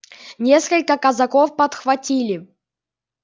несколько казаков подхватили